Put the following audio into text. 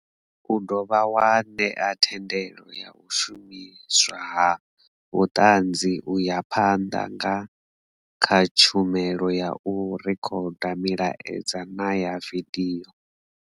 U dovha wa ṋea thendelo ya u shumiswa ha vhuṱanzi u ya phanḓa nga kha tshumelo ya u rekhoda milaedza na ya vidio.